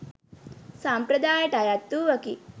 සම්ප්‍රදායට අයත් වූවකි.